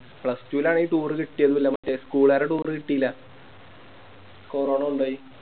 Plustwo ല് അങ്ങനെ Toure കിട്ടിയിരുന്നില്ല മറ്റേ School കാരെ Toure കിട്ടില്ല കൊറോണ കൊണ്ടോയി